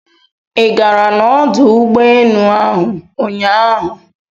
i gara na ọdụ ụgbọ enu ahụ ụnyaahụ?